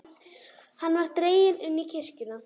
Hann var dreginn inn í kirkjuna.